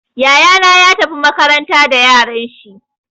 Yaya na ya tafi makaranta da yaran shi.